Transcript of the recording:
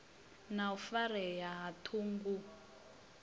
na u farea ha ṱhungu